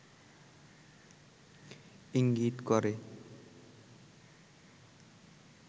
ইঙ্গিত করে